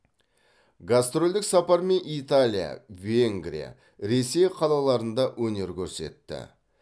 гастрольдік сапармен италия венгрия ресей қалаларында өнер көрсетті